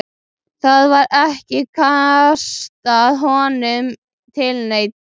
Það var ekki kastað höndum til neins.